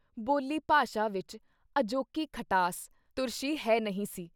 ਬੋਲੀ ਭਾਸ਼ਾ ਵਿੱਚ ਅਜੋਕੀ ਖਟਾਸ, ਤੁਰਸ਼ੀ ਹੈ ਨਹੀਂ ਸੀ।